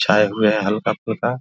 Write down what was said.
छाए हुए है हल्का-फुल्का ।